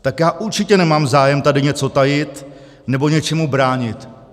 Tak já určitě nemám zájem tady něco tajit nebo něčemu bránit.